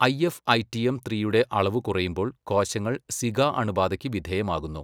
IFITM ത്രീയുടെ അളവ് കുറയുമ്പോൾ കോശങ്ങൾ സിക അണുബാധയ്ക്ക് വിധേയമാകുന്നു.